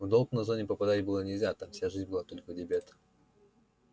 в долг на зоне попадать было нельзя там вся жизнь была только в дебет